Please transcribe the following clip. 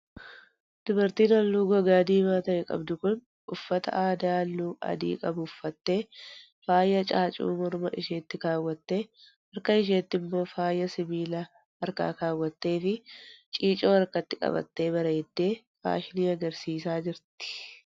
Dubartiin haalluu gogaa diimaa ta'e qabdu kun, uffata aadaa haalluu adii qabu uffattee ,faaya caacuuu morma isheetti kaawwattee, harka isheetti immoo faaya sibiila harkaa kaawwattee fi ciicoo harkatti qabattee bareeddee faashinii agarsiisaa jirti.